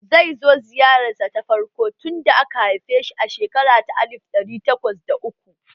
Zai zo ziyararsa ta farko tun lokacin da aka haife shi a shekara ta alif ɗari takwas da uku